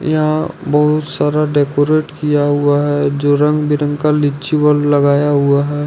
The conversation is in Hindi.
यहां बहुत सारा डेकोरेट किया हुआ है जो रंग बिरंग का लीची बॉल लगाया हुआ हैं।